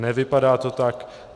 Nevypadá to tak.